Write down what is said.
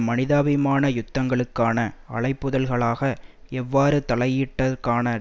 மனிதாபிமான யுத்தங்களுக்கான அழைப்புதல்களாக எவ்வாறு தலையீட்டுக்கான